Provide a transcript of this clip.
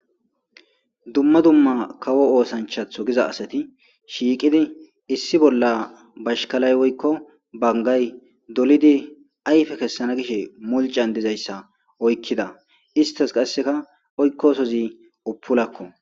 dumma dumma kawo oosanichatho giza asati shiiqidi issi bolla bashkalay woykko bangay dolidi ayife kessana gishe mulican dizayssa oykkida istas qasseka oykkosozi uppulakko